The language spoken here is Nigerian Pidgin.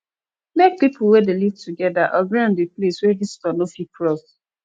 make pipo wey de live together on di place wey visitor no fit cross